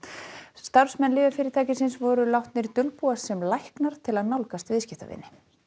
starfsmenn lyfjafyrirtækisins voru látnir dulbúast sem læknar til að nálgast viðskiptavini